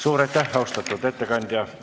Suur aitäh, austatud ettekandja!